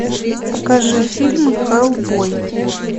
покажи фильм хеллбой